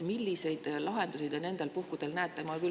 Milliseid lahendusi te nendel puhkudel näete?